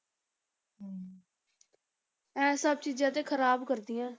ਇਹ ਸਭ ਚੀਜ਼ਾਂ ਤੇ ਖ਼ਰਾਬ ਕਰਦੀਆਂ।